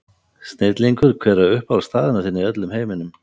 Snillingur Hver er uppáhaldsstaðurinn þinn í öllum heiminum?